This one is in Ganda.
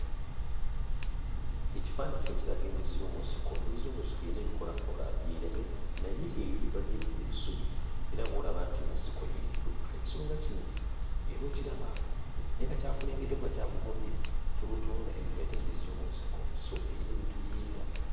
Ekifaananyi kino kiraga embizzi y'omu nsiko. Embizzi z'omu nsiko eyina ebikoolakoola by'erya naye naye eri waliyo ebi ebisubi era w'olaba nti nsiko y'eriyo. Kati ekisolo nga kino era okiraba, naye nga kyakulengedde oba kyakugobye, tolutonda; eno gye bayita embizzi y'omu nsiko, so eyina ebintu by'erya.